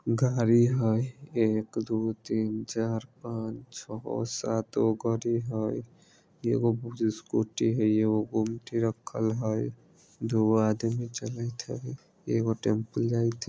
घड़ी हेय एक दो तीन चार पांच छ सात गो घड़ी हेय एगो स्कूटी हेय एगो गुमटी रखल हेय दू गो आदमी चलेएत हेय एगो टेंपुल जाइत हेय।